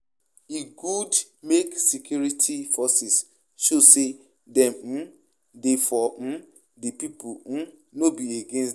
E good make make security forces show say dem um dey for um di people, um no be against dem.